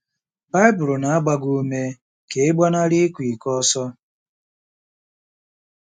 Baịbụl na-agba gị ume ka ị “gbanarị ịkwa iko ọsọ.